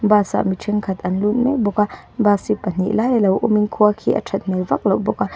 bus ah mi thenkhat an lut mek bawk a bus hi pahnih lai a lo awm in khua khi a that hmel vak loh bawk a.